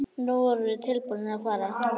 Nú voru þeir tilbúnir að fara.